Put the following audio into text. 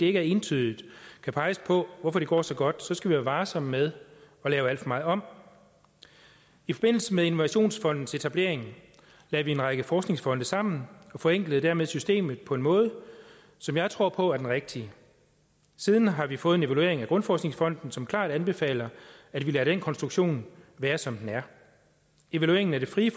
ikke entydigt kan peges på hvorfor det går så godt skal vi være varsomme med at lave alt for meget om i forbindelse med innovationsfondens etablering lagde vi en række forskningsfonde sammen og forenklede dermed systemet på en måde som jeg tror på er den rigtige siden har vi fået en evaluering af grundforskningsfonden som klart anbefaler at vi lader den konstruktion være som den er evalueringen af det frie